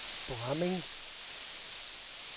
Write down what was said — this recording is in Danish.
Bramming